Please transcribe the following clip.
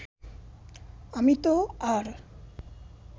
আমি তো আর